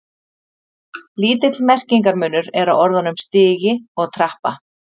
Lítill merkingarmunur er á orðunum stigi og trappa.